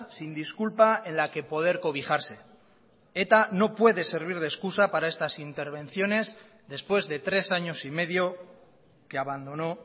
sin disculpa en la que poder cobijarse eta no puede servir de excusa para estas intervenciones después de tres años y medio que abandonó